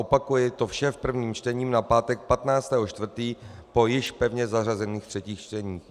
Opakuji, to vše v prvním čtení na pátek 15. 4. po již pevně zařazených třetích čteních.